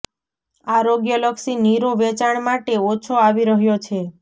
આરોગ્ય લક્ષી નીરો વેચાણ માટે ઓછો આવી રહ્યો છે